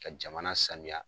Ka jamana sanuya.